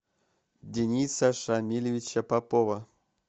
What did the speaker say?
дениса шамилевича попова